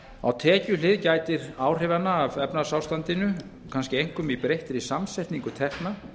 á tekjuhlið gætir áhrifanna af efnahagsástandinu kannski einkum í breyttri samsetningu tekna